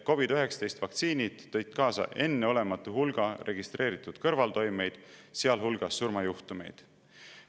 COVID‑19 vaktsiinid tõid kaasa enneolematu hulga registreeritud kõrvaltoimeid, sealhulgas surmajuhtumeid.